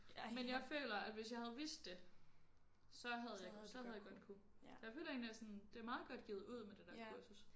Men jeg føler at hvis jeg havde vidst det så havde jeg så havde jeg godt kunne jeg føler egentlig at sådan det er meget godt givet ud med det der kursus